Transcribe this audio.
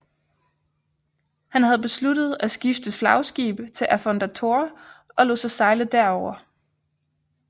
Han havde besluttet at skifte flagskib til Affondatore og lod sig sejle derover